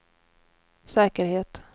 säkerhet